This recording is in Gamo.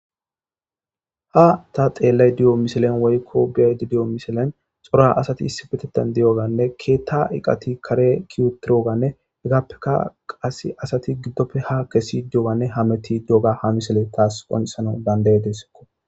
Ha tani xellayda diizo missilen woykko be'ayda diizo missilen coora assati issippetethan diiyoganne keththa eeqati kaare keii uttidoggane heggapeka qasse ketta giddoppe qasse ha kesdidi diyoggane hammetidi diiyoga ha missiley tas qonccisanawu dandaides.